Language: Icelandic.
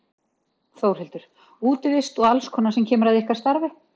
Þórhildur: Útivist og alls konar sem kemur að ykkar starfi?